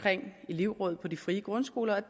elevråd i de frie grundskoler